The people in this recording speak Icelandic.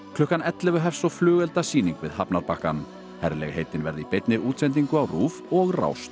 klukkan ellefu hefst svo flugeldasýning við hafnarbakkann herlegheitin verða í beinni útsendingu á RÚV og Rás